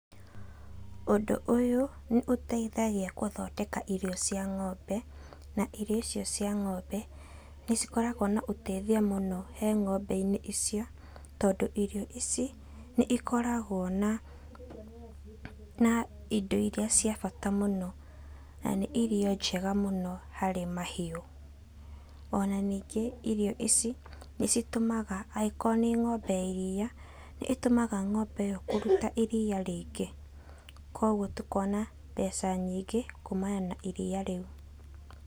Ũndũ ũyũ nĩ ũteithagia gũthondeka irio cia ng'ombe, na irio icio cia ng'ombe nĩ cikoragwo na ũteithia mũno he ng'ombe-inĩ icio. Tondũ irio ici nĩ ikoragwo na, na indo iria cia bata mũno na nĩ irio njega mũno harĩ mahiũ. Ona ningĩ irio ici nĩ citũmaga agĩkorwo nĩ ng'ombe ya iria, nĩ itũmaga ng'ombe ĩyo kũruta iria rĩingĩ. Kogwo tũkona mbeca nyingĩ kũmana na iria rĩu.